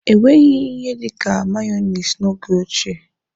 Enweghị ihe dịka meyoniz n'oge ochie.